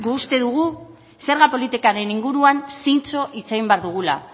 gu uste dugu zerga politikaren inguruan zintzo hitz egin behar dugula